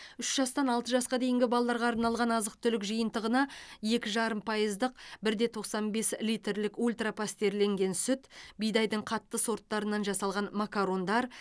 үш жастан алты жасқа дейінгі балаларға арналған азық түлік жиынтығына екі жарым пайыздық бір де тоқсан бес литрлік ультра пастерленген сүт бидайдың қатты сорттарынан жасалған макарондар